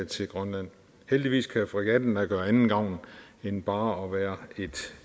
til grønland heldigvis kan fregatten da gøre anden gavn end bare at være et